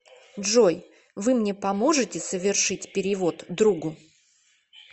джой вы мне поможете совершить перевод другу